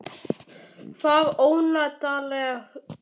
Það ónotalega hugboð ásótti mig að niðurstaðan í máli okkar